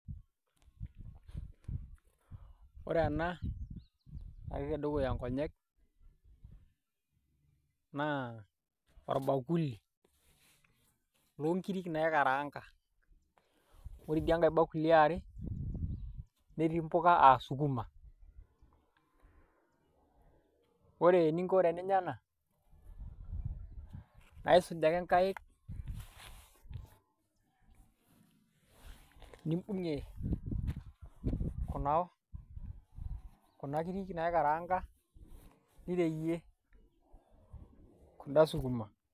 Wore ena, natii tedukuya inkonyek, naa orbakuli, loonkirik naikaraanga. Wore idiankae bakuli eeare, netii impuka aa sukuma. Wore eninko teninya ena, aisuj ake inkaik, nimbungie kuna kirrik naikaraanga, nireyie kunda sukuma.